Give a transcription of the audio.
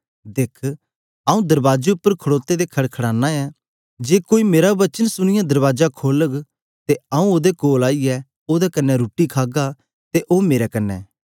दिख आऊँ दरबाजे उपर खड़ोते दे खड़काना ऐ जे कोई मेरा वचन सुनीयै दरबाजा खोलग ते आऊँ ओदे कोल आईयै ओदे कन्ने रुट्टी खागा ते ओ मेरे कन्ने